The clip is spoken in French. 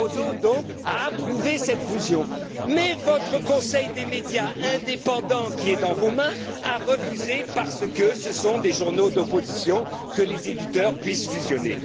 M. Barroso, donc, a approuvé cette fusion, mais votre conseil des médias indépendant, qui est entre vos mains, a refusé, parce que ce sont des journaux d'opposition, que les éditeurs puissent fusionner.